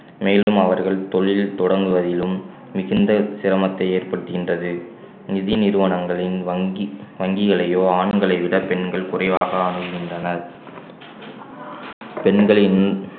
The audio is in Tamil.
மேலும் அவர்கள் தொழில் தொடங்குவதிலும் மிகுந்த சிரமத்தை ஏற்படுத்துகின்றது நிதி நிறுவனங்களின் வங்கி~ வங்கிகளையோ ஆண்களை விட பெண்கள் குறைவாக அணுகுகின்றனர் பெண்களின்